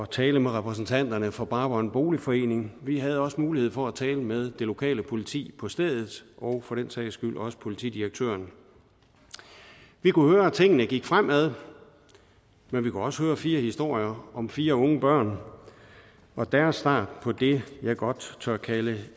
tale med repræsentanterne for brabrand boligforening vi havde også mulighed for at tale med det lokale politi på stedet og for den sags skyld også politidirektøren vi kunne høre at tingene gik fremad men vi kunne også høre fire historier om fire unge børn og deres start på det jeg godt tør kalde